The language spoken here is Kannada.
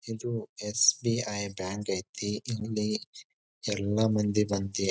ಇದು ಎಸ್.ಬಿ.ಐ. ಬ್ಯಾಂಕ್ ಐತಿ. ಇಲ್ಲಿ ಎಲ್ಲಾ ಮಂದಿ ಬಂದಿ --